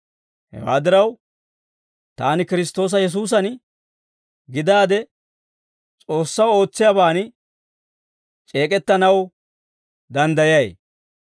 Hewaa diraw, taani Kiristtoosa Yesuusan gidaade S'oossaw ootsiyaaban c'eek'ettanaw danddayay.